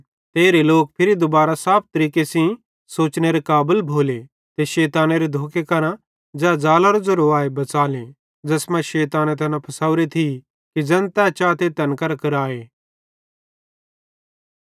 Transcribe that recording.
ते एरे लोक दुबारां फिरी साफ तरीके सेइं सोचनेरे काबल भोले ते शैतानेरे धोखे करां ज़ै ज़ालेरे ज़ेरोए बच़ेले शैताने तैना फासवरे थिये कि ज़ैन तै चाते तैना तैन करां कराए